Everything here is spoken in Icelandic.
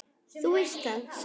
Þú veist það, sagði hún.